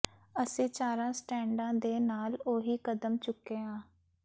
ਅਸੀਂ ਚਾਰਾਂ ਸਟੈਂਡਾਂ ਦੇ ਨਾਲ ਉਹੀ ਕਦਮ ਚੁਕੇ ਹਾਂ